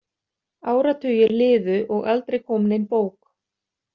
Áratugir liðu og aldrei kom nein bók.